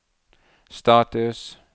status